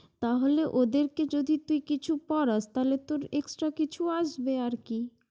তাহলে ওদেরকে যদি তুই কিছু পড়াস, তাহলে তোর extra কিছু আসবে আরকি।